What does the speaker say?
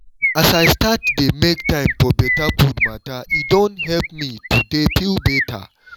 as i start dey make time for better food matter e don help me to dey feel better